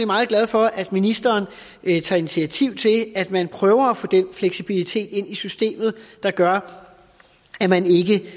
meget glad for at ministeren vil tage initiativ til at man prøver at få den fleksibilitet ind i systemet der gør